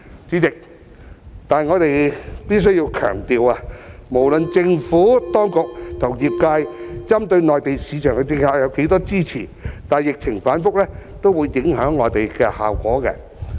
然而，代理主席，我們必須強調，無論政府當局和業界針對內地市場的政策得到多少支持，疫情反覆也會影響效果。